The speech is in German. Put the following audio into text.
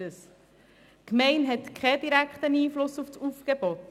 Die Gemeinde hat keinen direkten Einfluss auf das Aufgebot.